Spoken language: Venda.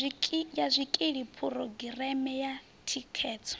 ya zwikili phurogireme ya thikhedzo